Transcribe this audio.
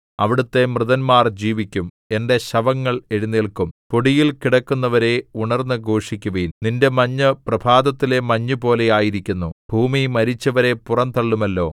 അവിടുത്തെ മൃതന്മാർ ജീവിക്കും എന്റെ ശവങ്ങൾ എഴുന്നേല്ക്കും പൊടിയിൽ കിടക്കുന്നവരേ ഉണർന്നു ഘോഷിക്കുവിൻ നിന്റെ മഞ്ഞ് പ്രഭാതത്തിലെ മഞ്ഞുപോലെ ആയിരിക്കുന്നു ഭൂമി മരിച്ചവരെ പുറംതള്ളുമല്ലോ